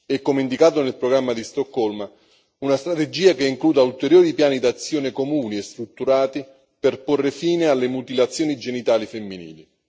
e, come indicato nel programma di Stoccolma, una strategia che includa ulteriori piani d'azione comuni e strutturati per porre fine alle mutilazioni genitali femminili.